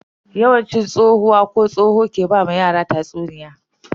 Yawanci tsohuwa ko tsoho ke ba wa yara tatsuniya.